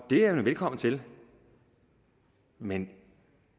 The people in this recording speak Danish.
er man velkommen til men